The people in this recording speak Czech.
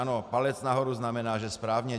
Ano, palec nahoru znamená, že správně.